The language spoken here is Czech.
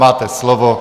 Máte slovo.